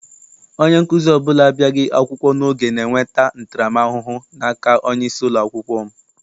Onye nkụzi ọbụla abịaghị akwụkwọ n'oge na-enweta ntara m ahụhụ n'aka onyeisi ụlọakwụkwọ m.